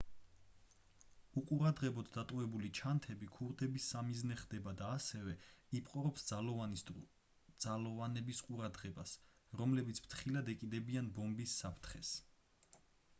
უყურადღებოდ დატოვებული ჩანთები ქურდების სამიზნე ხდება და ასევე იპყრობს ძალოვანების ყურადღებას რომლებიც ფრთხილად ეკიდებიან ბომბის საფრთხეს